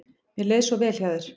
Mér leið svo vel hjá þér.